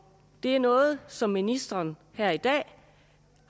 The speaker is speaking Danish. det er noget som ministeren her i dag